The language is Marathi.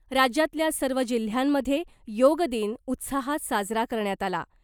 राज्यातल्या सर्व जिल्ह्यांमधे योगदिन उत्साहात साजरा करण्यात आला .